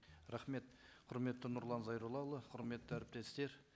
рахмет құрметті нұрлан зайроллаұлы құрметті әріптестер